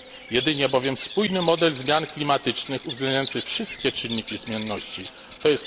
Jedynie bowiem spójny model zmian klimatycznych uwzględniający wszystkie czynniki zmienności, tj.